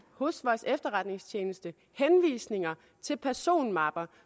hos vores efterretningstjeneste henvisninger til personmapper